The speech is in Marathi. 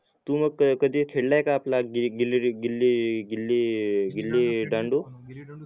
तू मग कधी खेळलय का आपला गिल्ली गिल्ली रे गिल्ली गिल्ली दांडू